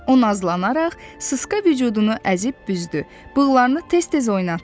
O nazlanaraq, sıska vücudunu əzib büzdü, bığlarını tez-tez oynatdı.